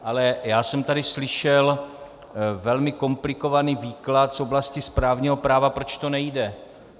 Ale já jsem tady slyšel velmi komplikovaný výklad z oblasti správního práva, proč to nejde.